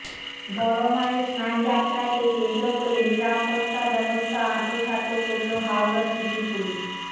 বড় মায়ের স্নান যাত্রাকে কেন্দ্র করে নিরাপত্তা ব্যবস্থা আঁটোসাঁটো করলো হাওড়া সিটি পুলিশ